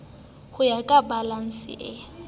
ho ya ka balanse e